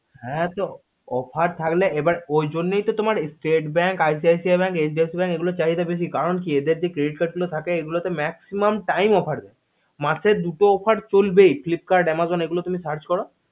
হা তো offer থাকলেএবার ওই জন্যই তো তোমার stste bank icic bank hdfc bank এগুলোর চাহিদা বেশি কারণ কি এদের যে credit card গুলো থাকে maximum time offer দেই মাসে দুটো offer চলবেই flipkart amazon এগুলো তুমি search করো